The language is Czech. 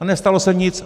A nestalo se nic.